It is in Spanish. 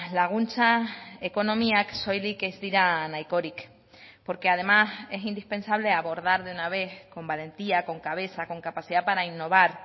laguntza ekonomiak soilik ez dira nahikorik porque además es indispensable abordar de una vez con valentía con cabeza con capacidad para innovar